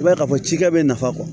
I b'a ye k'a fɔ cikɛ bɛ nafa